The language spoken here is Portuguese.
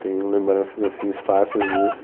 Tenho lembranças assim, esparsas disso.